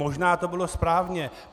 Možná to bylo správně.